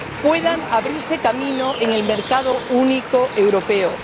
puedan abrirse camino en el mercado único europeo.